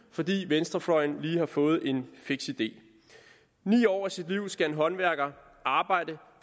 fordi venstrefløjen lige har fået en fiks idé ni år af sit liv skal en håndværker arbejde